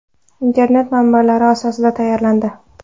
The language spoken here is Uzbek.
Internet manbalari asosida tayyorlandi.